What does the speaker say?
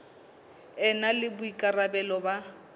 e na le boikarabelo ba